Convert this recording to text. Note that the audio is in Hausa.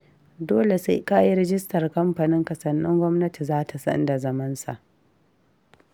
Dole sai ka yi rajistar kamfaninka sannan gwamnati za ta san da zamansa